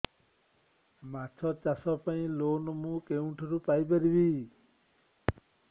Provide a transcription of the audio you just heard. ମାଛ ଚାଷ ପାଇଁ ଲୋନ୍ ମୁଁ କେଉଁଠାରୁ ପାଇପାରିବି